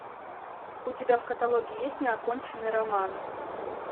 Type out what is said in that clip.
у тебя в каталоге есть неоконченный роман